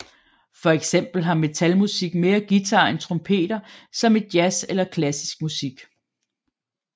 For eksempel har metal musik mere guitar end trompeter som i Jazz eller klassisk musik